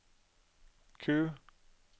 Q